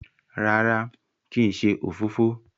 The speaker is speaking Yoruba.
rárá kín ṣe òfófó?